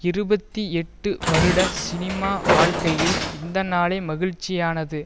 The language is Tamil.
இருபத்தி எட்டு வருட சினிமா வாழ்க்கையில் இந்த நாளே மகிழ்ச்சியானது